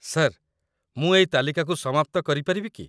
Sir, ମୁଁ ଏଇ ତାଲିକାକୁ ସମାପ୍ତ କରିପାରିବି କି?